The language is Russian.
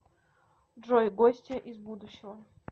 джой гостья из будущего